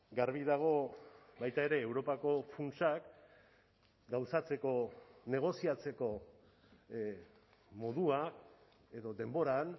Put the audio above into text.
garbi dago baita ere europako funtsak gauzatzeko negoziatzeko modua edo denboran